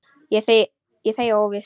Ég þegi óviss.